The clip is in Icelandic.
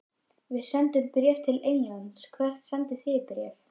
Við sendum bréf til Englands. Hvert sendið þið bréf?